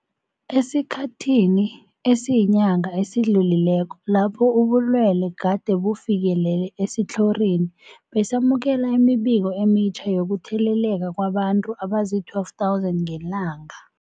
Esikhathini esiyinyanga esidlulileko lapho ubulwele gade bufikelele esitlhorini, besamukela imibiko emitjha yokutheleleka kwabantu abazii-12 000 ngelanga.